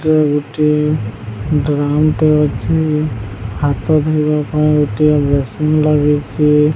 ଗୋଟେ ଗ୍ରାଉଣ୍ଡ ଟେ ଅଛି। ହାତ ଧୋଇବା ପାଈଁ ଗୋଟିଏ ବେସିନ୍ ଲାଗିଛି।